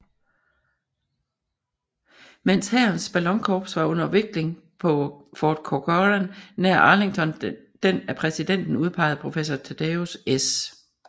Mens hærens ballonkorps var under vikling på Fort Corcoran nær Arlington den af præsidenten udpegede Professor Thaddeus S